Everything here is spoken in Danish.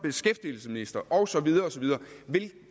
og så videre vil